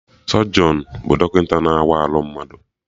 Sọjọnụ bụ dọkịta na-awa arụ mmadụ